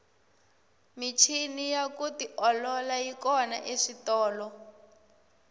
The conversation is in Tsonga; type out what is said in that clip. michini ya ku tiolola yi kona eswitolo